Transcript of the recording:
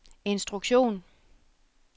instruktion